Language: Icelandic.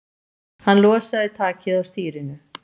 Hann losaði takið á stýrinu.